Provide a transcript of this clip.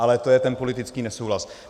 Ale to je ten politický nesouhlas.